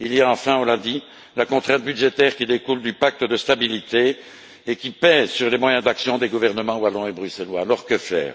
Il y a enfin, on l'a dit, la contrainte budgétaire qui découle du pacte de stabilité et qui pèse sur les moyens d'action des gouvernements wallon et bruxellois. Alors que faire?